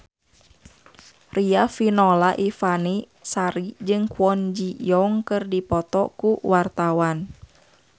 Riafinola Ifani Sari jeung Kwon Ji Yong keur dipoto ku wartawan